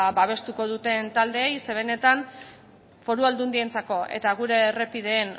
babestuko duten taldeei ze benetan foru aldundientzako eta gure errepideen